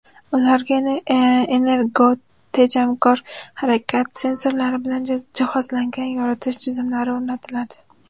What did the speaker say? Ularga energotejamkor, harakat sensorlari bilan jihozlangan yoritish tizimlari o‘rnatiladi.